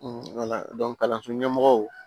kalanso ɲɛmɔgɔw